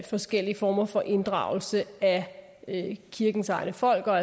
forskellige former for inddragelse af kirkens egne folk og